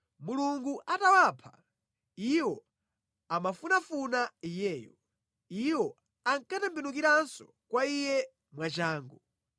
Mulungu atawapha, iwo amamufunafuna Iyeyo; iwo ankatembenukiranso kwa Iye mwachangu.